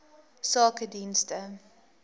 sakedienste